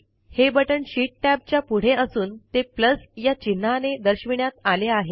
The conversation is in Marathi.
हे बटण शीट टॅबच्या पुढे असून ते या चिन्हाने दर्शविण्यात आले आहे